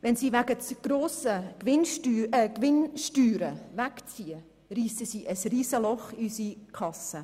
Wenn sie wegen zu grosser Gewinnsteuern wegziehen, reissen sie ein Riesenloch in unsere Kasse.